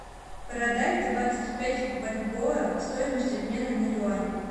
продать двадцать пять бальбоа стоимость обмена на юань